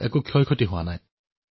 কিন্তু কেতিয়াও লোকচান হোৱা নাই